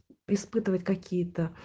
испытывать какие-то